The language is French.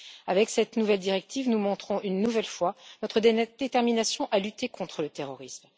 Avec cette nouvelle directive, nous montrons une nouvelle fois notre détermination à lutter contre le terrorisme.